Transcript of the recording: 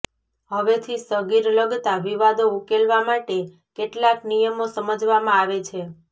હવેથી સગીર લગતા વિવાદો ઉકેલવા માટે કેટલાક નિયમો સમજવામાં આવે છે